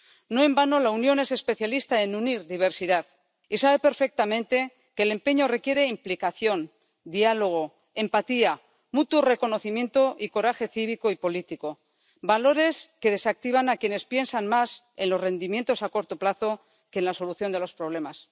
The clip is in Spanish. No en vano, la Unión es especialista en unir diversidad y sabe perfectamente que el empeño requiere implicación, diálogo, empatía, mutuo reconocimiento y coraje cívico y político, valores que desactivan a quienes piensan más en los rendimientos a corto plazo que en la solución de los problemas.